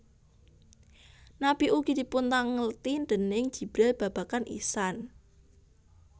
Nabi ugi dipuntangkleti déning Jibril babagan ihsan